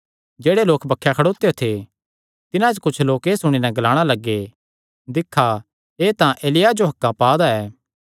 जेह्ड़े लोक बक्खे खड़ोत्यो थे तिन्हां च कुच्छ लोक एह़ सुणी नैं ग्लाणा लग्गे दिक्खा एह़ तां एलिय्याह जो हक्कां पा दा ऐ